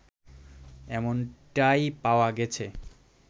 এমনটাই পাওয়া গেছে